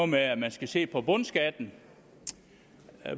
med at man skal se på bundskatten